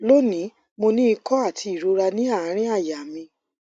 loni mo ní ìkó ati irora ni aarin àyà mi